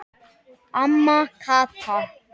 Amma Kata.